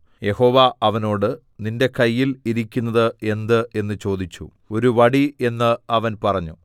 യഹോവ അവനോട് നിന്റെ കയ്യിൽ ഇരിക്കുന്നത് എന്ത് എന്ന് ചോദിച്ചു ഒരു വടി എന്ന് അവൻ പറഞ്ഞു